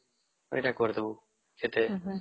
ଏଇଟା କରିଦେବୁ ଯେତେ